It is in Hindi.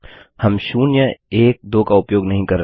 हम 012 का उपयोग नहीं कर रहे हैं